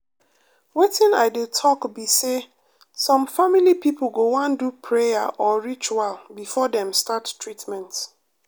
wetin i dey talk be say some family people go wan do prayer or ritual before dem start treatment.